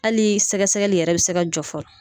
Ali sɛgɛsɛgɛli yɛrɛ bi se ka jɔ fɔlɔ